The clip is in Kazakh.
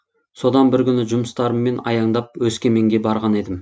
содан бір күні жұмыстарыммен аяңдап өскеменге барған едім